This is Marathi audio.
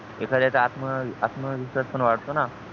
एखाद्याचा आत्म आत्मविश्वास पण वाढतो ना